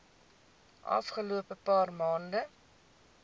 afgelope paar maande